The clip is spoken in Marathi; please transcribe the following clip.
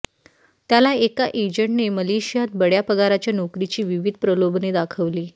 त्याला एका एजंटने मलेशियात बड्या पगाराच्या नोकरीची विविध प्रलोभने दाखवली